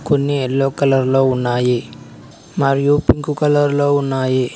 కొన్ని yellow colour లో ఉన్నాయి మరియు పింక్ కలర్ లో ఉన్నాయి.